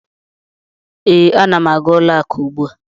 Ee, ana m aga ụlọakụ ugbu a.